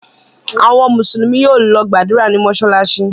Àwọn Mùsùlùmí yóò lọ gbàdúrà ní mọ́ṣáláṣí.